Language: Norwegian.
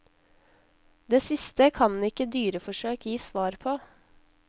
Det siste kan ikke dyreforsøk gi svar på.